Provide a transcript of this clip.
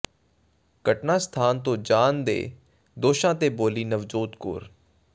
ਘਟਨਾ ਸਥਾਨ ਤੋਂ ਜਾਣ ਦੇ ਦੋਸ਼ਾਂ ਤੇ ਬੋਲੀ ਨਵਜੋਤ ਕੌਰ